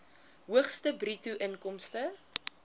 hoogste bruto inkomste